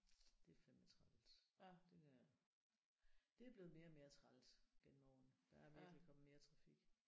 Det er fandme træls det der. Det er blevet mere og mere træls gennem årene. Der er virkelig kommet mere trafik